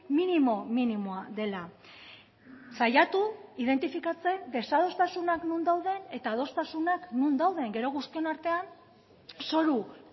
minimo minimoa dela saiatu identifikatzen desadostasunak non dauden eta adostasunak non dauden gero guztion artean zoru